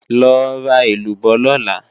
Lọ ra èlúbọ́ lọ̀la!